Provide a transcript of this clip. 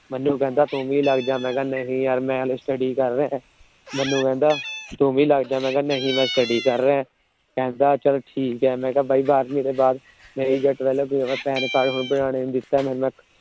ਮੈਨੂੰ ਕਹਿੰਦਾ ਤੂੰ ਵੀ ਲੱਗ ਜਾ। ਮੈ ਕਿਹਾ ਨਹੀਂ ਯਾਰ ਮੈ ਹਜੇ Study ਕਰ ਰਿਹਾ ਹਾਂ। ਮੈਨੂੰ ਕਹਿੰਦਾ ਤੂੰ ਵੀ ਲੱਗ ਜਾ। ਮੈ ਕਿਹਾ ਨਹੀਂ ਮੈ ਹਜੇ Study ਕਰ ਰਿਹਾ ਹਾਂ। ਕਹਿੰਦਾ ਚੱਲ ਠੀਕ ਏ।